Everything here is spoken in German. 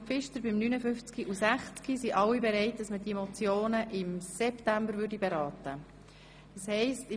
Pfister bei den Traktanden 59 und 60, sind alle bereit, ihre Motionen im September beraten zu lassen.